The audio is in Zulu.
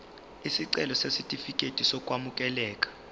isicelo sesitifikedi sokwamukeleka